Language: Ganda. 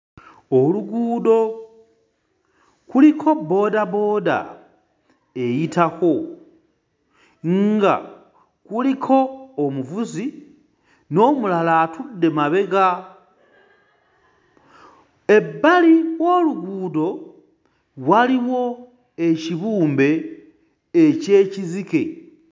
Oluguudo kuliko bboodabooda eyitako nga kuliko omuvuzi n'omulala atudde mabega. Ebbali w'oluguudo waliwo ekibumbe eky'ekizike.